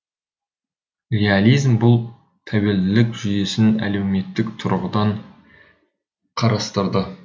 реализм бұл тәуелділік жүйесін әлеуметтік тұрғыдан қарастырды